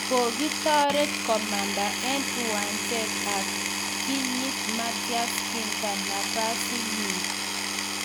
Kikitaret komanda eng' uwanjet ak kinyiit Matthias Ginter nafasitnyi